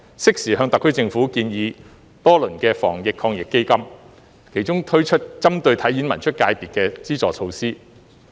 適時向特區政府建議多輪的防疫抗疫基金，其中推出針對"體演文出"界別的資助措施。